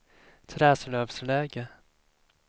Träslövsläge